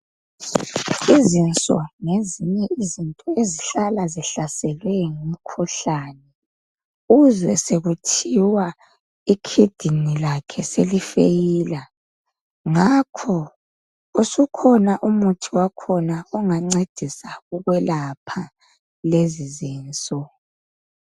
Izinso ngezinye izinto ezihlala zihlaselwe ngumkhuhlane uzwe sekuthiwa ikidini lakhe selifeyila, ngakho usukhona umuthi wakhona ongancedisa ukwelapha lezi zinso.